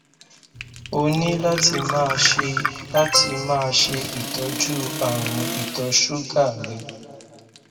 o ní láti máa ṣe láti máa ṣe ìtọjú àrùn ìtọ ṣúgà rẹ